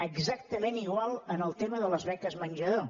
exactament igual en el tema de les beques menjador